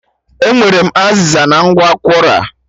E nwetere m azịza na ngwa Kwora